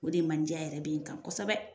O de mandiya yɛrɛ bɛ n kan kosɛbɛ.